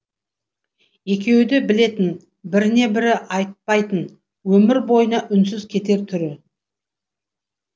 екеуі де білетін біріне бірі айтпайтын өмір бойына үнсіз кетер түрі